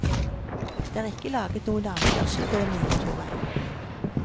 Det er ikke laget noen avkjørsel på den nye motorveien.